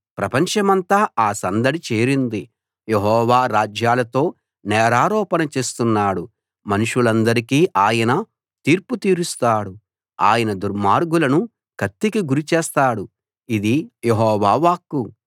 ప్రపంచమంతా ఆ సందడి చేరింది యెహోవా రాజ్యాలతో నేరారోపణ చేస్తున్నాడు మనుషులందరికీ ఆయన తీర్పు తీరుస్తాడు ఆయన దుర్మార్గులను కత్తికి గురిచేస్తాడు ఇది యెహోవా వాక్కు